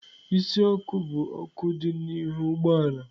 Isi ọkụ bụ ọkụ dị n'ihu ụgbọ ala.